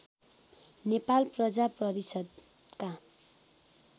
नेपाल प्रजा परिषद्का